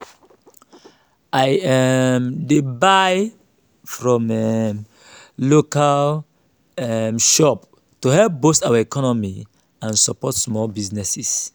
i um dey buy from um local um shops to help boost our economy and support small businesses.